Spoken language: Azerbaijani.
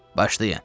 "Başlayın."